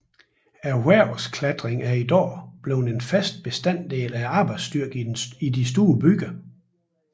Erhvervsklatring er i dag blevet en fast bestanddel af arbejdsstyrken i den store byer